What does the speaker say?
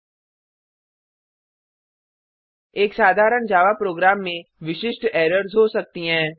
httpspoken tuitorialorg एक साधारण Java program में विशिष्ट एरर्स हो सकती हैं